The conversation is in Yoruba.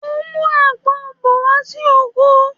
Mo ń mú àgbon bọ̀ wá sí oko